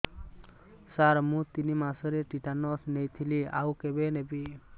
ସାର ମୁ ତିନି ମାସରେ ଟିଟାନସ ନେଇଥିଲି ଆଉ କେବେ ନେବି